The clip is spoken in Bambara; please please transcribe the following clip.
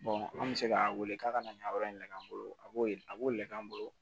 an bɛ se k'a wele k'a ka na yan yɔrɔ in nɛgɛ an bolo a b'o a b'o lɛ an bolo